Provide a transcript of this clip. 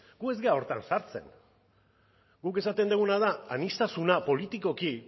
gu ez gara horretan sartzen guk esaten duguna da aniztasuna politikoki